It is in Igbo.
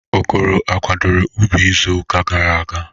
Okoro akwadoro ubi izu uka gara aga?